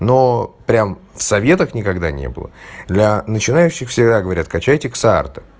но прям в советах никогда не было для начинающих всегда говорят качать эскорта